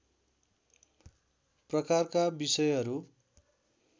प्रकारका विषयहरू